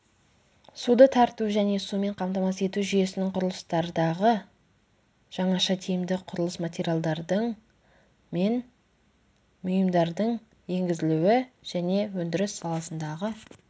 суды тарту және сумен қамтамасыз ету жүйесінің құрылыстардағы жаңаша тиімді құрылыс материалдардың мен бұйымдардың енгізілуі және өндіріс саласындағы